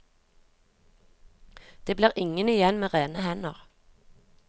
Det blir ingen igjen med rene hender.